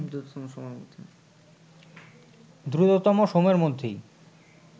দ্রুততম সময়ের মধ্যেই